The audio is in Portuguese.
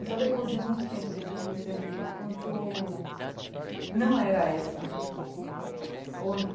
E só depois de muito tempo que eu fui perceber o quanto não era essa